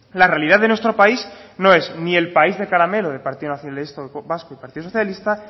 la realidad de nuestro país no es ni el país de caramelo del partido nacionalista vasco y partido socialista